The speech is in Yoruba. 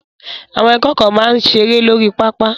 Àwọn akẹ́kọ̀ọ́ máa ń seré lórí pápá.